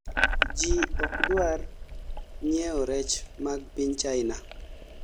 ji okdwar nyiewo rech mag piny China